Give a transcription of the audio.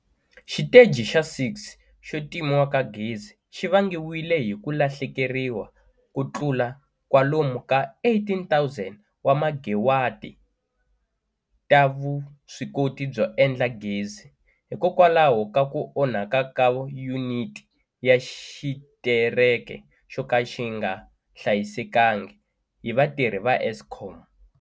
Xiteji xa 6 xo timiwa ka gezi xi vangiwile hi ku lahlekeriwa ko tlula kwalomu ka 18 000 wa megawati ta vuswikoti byo endla gezi hikokwalaho ka ku onhaka ka yuniti na xitereke xo ka xi nga hlayisekangi hi vatirhi va Eskom.